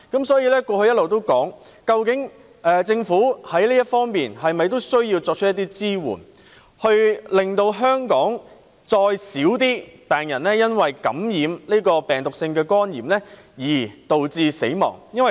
所以，過去我一直提出，政府需要在這方面提供一些支援，以進一步減少香港因感染病毒性肝炎致死的人數。